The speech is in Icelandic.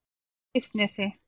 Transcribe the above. Freysnesi